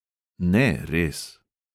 Ne, res …